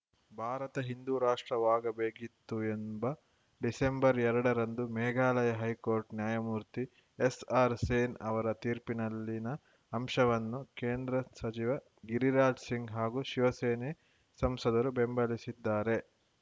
ಭಾರತ ಹಿಂದೂ ರಾಷ್ಟ್ರವಾಗಬೇಕಿತ್ತು ಎಂಬ ಡಿಸೆಂಬರ್‌ ಎರಡರಂದು ಮೇಘಾಲಯ ಹೈಕೋರ್ಟ್‌ ನ್ಯಾಯಮೂರ್ತಿ ಎಸ್‌ಆರ್‌ ಸೇನ್‌ ಅವರ ತೀರ್ಪಿನಲ್ಲಿನ ಅಂಶವನ್ನು ಕೇಂದ್ರ ಸಚಿವ ಗಿರಿರಾಜ್‌ ಸಿಂಗ್‌ ಹಾಗೂ ಶಿವಸೇನೆ ಸಂಸದರು ಬೆಂಬಲಿಸಿದ್ದಾರೆ